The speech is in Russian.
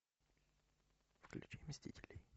включи мстителей